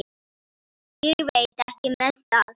Ég veit ekki með það.